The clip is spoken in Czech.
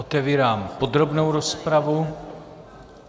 Otevírám podrobnou rozpravu.